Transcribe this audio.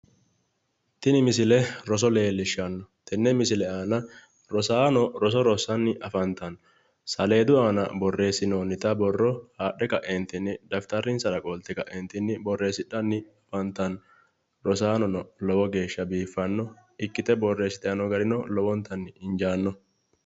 tini misile roso leellishshanno tenne misile aana rosaano roso rosssanni afantanno saleedu aana borreessinoonnita borro haadhe kaeentinni dafitarinsara qolte kaeentinni borreessidhanni afantanno rosaanono lowo geeshsha biiffanno ikkite borreessitanni noo garino lowontanni injaanno